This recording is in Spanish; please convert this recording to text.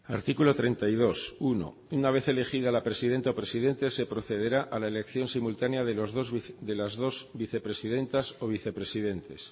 artículo treinta y dos uno una vez elegida la presidenta o presidente se procederá a la elección simultánea de las dos vicepresidentas o vicepresidentes